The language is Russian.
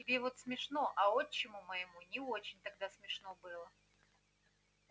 тебе вот смешно а отчиму моему не очень тогда смешно было